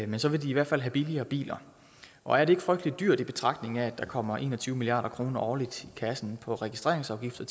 men så vil de i hvert fald have billigere biler og er det ikke frygtelig dyrt i betragtning af at der kommer en og tyve milliard kroner årligt i kassen fra registreringsafgifter